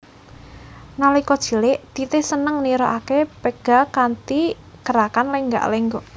Nalika cilik Titi seneng nirokaké pega kanthi gerakan lenggak lenggok